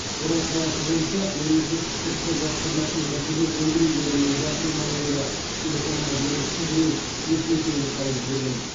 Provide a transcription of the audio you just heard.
орал қаласы бойынша мемлекеттік кірістер басқармасы мәжбүрлеп өндіру бөлімінің бас маманының да телефонына белгісіз біреу екі мың теңге салып жіберген